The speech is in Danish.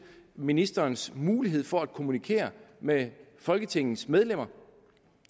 ministerens mulighed for at kommunikere med folketingets medlemmer